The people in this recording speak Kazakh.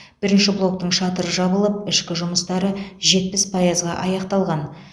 бірінші блоктың шатыры жабылып ішкі жұмыстары жетпіс пайызға аяқталған